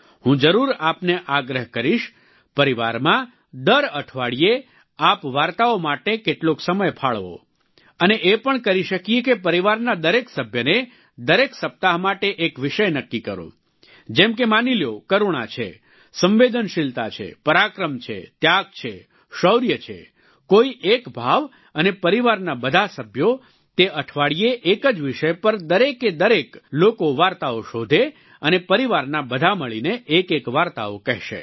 હું જરૂર આપને આગ્રહ કરીશ પરિવારમાં દર અઠવાડિયે આપ વાર્તાઓ માટે કેટલોક સમય ફાળવો અને એ પણ કરી શકીએ કે પરિવારના દરેક સભ્યને દરેક સપ્તાહ માટે એક વિષય નક્કી કરો જેમ કે માની લ્યો કરૂણા છે સંવેદનશીલતા છે પરાક્રમ છે ત્યાગ છે શૌર્ય છે કોઈ એક ભાવ અને પરિવારના બધા સભ્યો તે અઠવાડિયે એક જ વિષય પર દરેકે દરેક લોકો વાર્તાઓ શોધે અને પરિવારના બધા મળીને એકએક વાર્તાઓ કહેશે